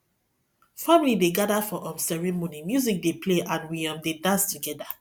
family dey gather for um ceremony music dey play and we um dey dance together